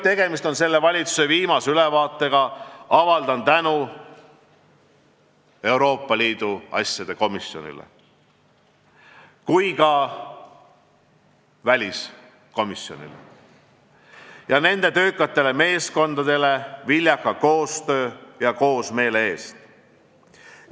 Kuna tegemist on selle valitsuse viimase ülevaatega, avaldan tänu nii Riigikogu Euroopa Liidu asjade komisjonile kui ka väliskomisjonile ja nende töökatele meeskondadele viljaka koostöö ja üksmeele eest.